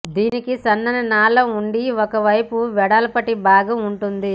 దీనికి సన్నని నాళం ఉండి ఒక వైపు వెడల్పాటి భాగం ఉంటుంది